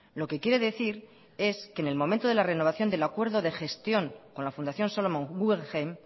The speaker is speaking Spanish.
lo que quiere decir es que en el momento de la renovación del acuerdo de gestión con la fundación solomon guggenheim